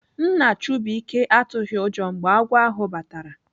Nna Chubuike atụghị ụjọ mgbe agwọ ahụ batara.